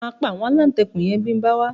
Máa pa àwọn aláǹtakùn yẹn tí ń bá wá